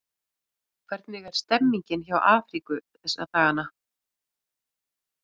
Hvernig er stemningin hjá Afríku þessa dagana?